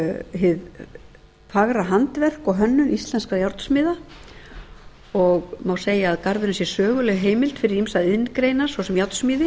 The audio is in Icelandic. hið fagra handverk og hönnun íslenskra járnsmiða og má segja að garðurinn sé söguleg heimild fyrir ýmsar iðngreinar svo sem járnsmíði